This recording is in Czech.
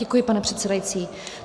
Děkuji, pane předsedající.